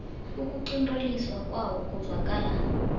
ukuqinteliswa kwawo kuzwakala